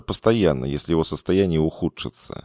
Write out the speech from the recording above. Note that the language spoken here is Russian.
постоянно если его состояние ухудшится